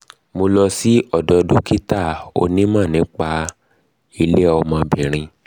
mo lọ sí ọ̀dọ̀ dókítà onímọ̀ nípa ilé ọmọ obìnrin